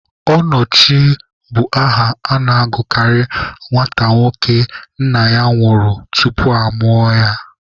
Ọnọchie bụ aha a na-agụkarị nwata nwoke nna ya nwụrụ tupu amụọ ya.